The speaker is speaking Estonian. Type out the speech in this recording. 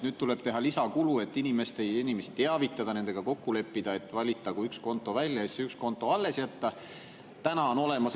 Nüüd tuleb teha lisakulu, et inimesi teavitada ja nendega kokku leppida, et valitagu üks konto välja, ja siis tuleb üks konto alles jätta.